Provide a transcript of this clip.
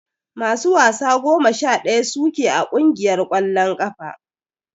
Masu wasa goma sha daya su ke a kungiyar kwallon kafa.